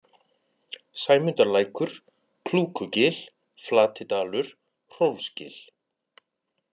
Sæmundarlækur, Klúkugil, Flatidalur, Hrólfsgil